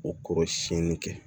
O kɔrɔ siɲɛni kɛ